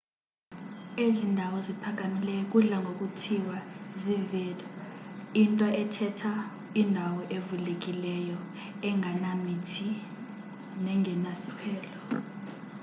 ezi ndawo ziphakamileyo kudla ngokuthiwa zii-vidde into ethetha indawo evulekileyo engenamithi nengenasiphelo